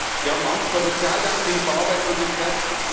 Sie haben Angst vor Sozialdumping, vor Arbeitslosigkeit.